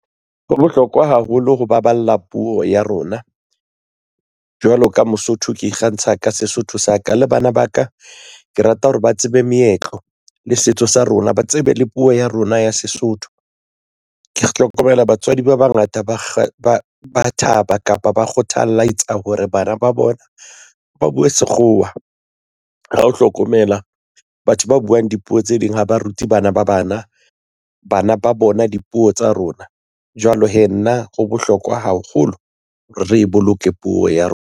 Ho bohlokwa haholo ho baballa puo ya rona jwalo ka Mosotho ke ikgantsha ka Sesotho sa ka le bana ba ka ke rata hore ba tsebe meetlo le setso sa rona ba tsebe le puo ya rona ya Sesotho. Ke ya hlokomela batswadi ba bangata ba thaba kapa ba kgothaletsa hore bana ba bona ba buwe sekgowa ha o hlokomela batho ba buwang dipuo tse ding ha ba rute bana ba bana bana ba bona dipuo tsa rona. Jwale hee nna ho bohlokwa haholo re boloke puo ya rona.